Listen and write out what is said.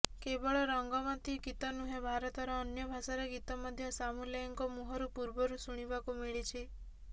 କେବଳ ରଙ୍ଗବତୀ ଗୀତ ନୁହେଁ ଭାରତର ଅନ୍ୟ ଭାଷାର ଗୀତ ମଧ୍ୟ ସାମୁଏଲଙ୍କ ମୁହଁରୁ ପୂର୍ବରୁ ଶୁଣିବାକୁ ମିଳିଛି